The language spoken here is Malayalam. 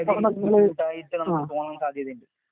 അടുത്ത ആഴ്ച ഞങ്ങൾ പോകാൻ സാധ്യത ഉണ്ട്.